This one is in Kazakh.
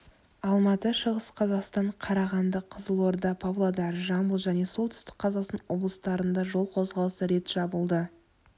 алматы шығыс қазақстан қарағанды қызылорда павлодар жамбыл және солтүстік қазақстан облыстарында жол қозғалысы рет жабылды